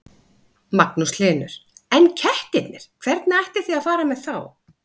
Magnús Hlynur: En kettirnir, hvernig ætlið þið að fara með þá?